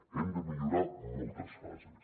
hem de millorar moltes fases